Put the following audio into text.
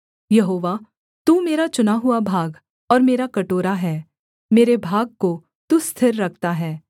यहोवा तू मेरा चुना हुआ भाग और मेरा कटोरा है मेरे भाग को तू स्थिर रखता है